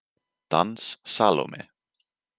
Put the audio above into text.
Dans Salóme.